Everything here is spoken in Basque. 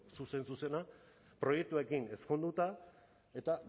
zuzen zuzena proiektuekin ezkonduta eta